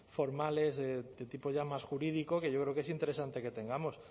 formales de tipo ya más jurídico que yo creo que es interesante que tengamos